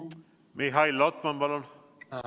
Mihhail Lotman, palun!